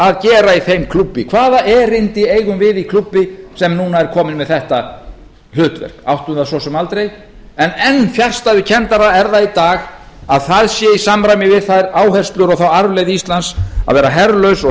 að gera í þeim klúbbi hvaða erindi eigum við í klúbbi sem núna er kominn með þetta hlutverk áttum það svo sem aldrei en enn fjarstæðukenndara er það í dag að það sé í samræmi við þær áherslur og þá arfleifð íslands að vera herlaust og